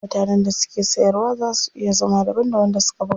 Mutanen da suke siyarwa zaa su iya zama daban da wanda suka buga.